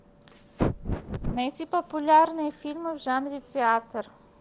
найти популярные фильмы в жанре театр